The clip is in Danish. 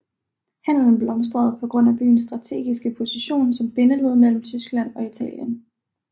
Handelen blomstrede på grund af byens strategiske position som bindeled mellem Tyskland og Italien